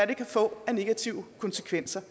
det kan få af negative konsekvenser